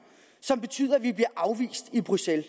som betyder at vi bliver afvist i bruxelles